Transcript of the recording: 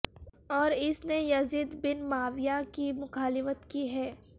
اور اس نے یزید بن معاویہ کی مخالفت کی ہے